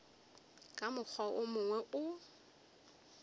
ka mokgwa wo mongwe o